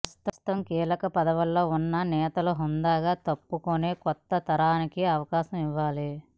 ప్రస్తుతం కీలక పదవుల్లో ఉన్న నేతలు హుందాగా తప్పుకుని కొత్త తరానికి అవకాశం ఇవ్వాలి